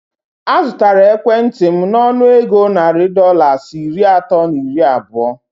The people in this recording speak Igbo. A zụtara ekwentị m nọnụ égo narị Dọlas iri atọ na iri abụọ